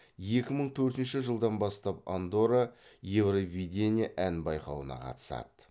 екі мың төртінші жылдан бастап андорра евровидение ән байқауына қатысады